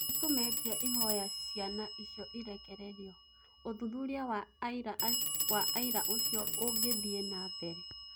Nĩtumĩtie ihoya ciana icio irekerio .ũthuthuria wa aira ũcio ũngĩthie nambere